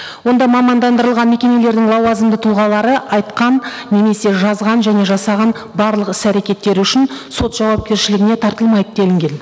онда мамандандырылған мекемелердің лауазымды тұлғалары айтқан немесе жазған және жасаған барлық іс әрекеттері үшін сот жауапкершілігіне тартылмайды делінген